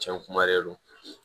Cɛn kuma de don